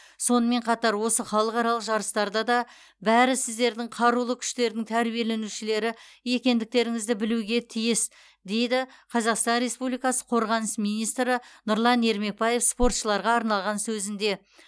сонымен қатар осы халықаралық жарыстарда да бәрі сіздердің қарулы күштердің тәрбиеленушілері екендеріңізді білуге тиіс деді қазақстан республикасы қорғаныс министрі нұрлан ермекбаев спортшыларға арнаған сөзінде